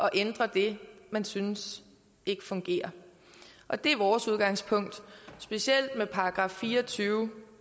at ændre det man synes ikke fungerer og det er vores udgangspunkt specielt med § fire og tyve